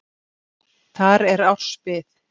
Þar er árs bið.